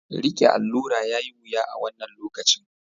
Riƙe aure yayi wuya a wannan lokacin.